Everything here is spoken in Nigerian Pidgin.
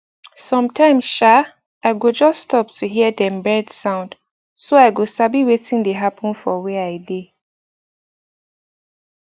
sometime um i go just stop to hear dem bird sound so i go sabi wetin dey happen for where i dey